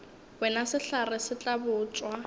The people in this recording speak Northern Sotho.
wena sehlare se tla botšwa